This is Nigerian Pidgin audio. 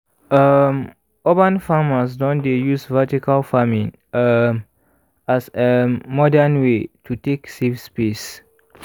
um urban farmers don dey use vertical farming um as um modern way to take save space